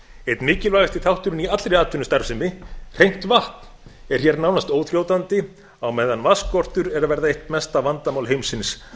einn mikilvægasti þátturinn í allri atvinnustarfsemi hreint vatn er hér nánast óþrjótandi á meðan vatnsskortur er að verða eitt mesta vandamál heimsins